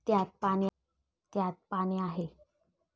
त्यात पाणी आहे.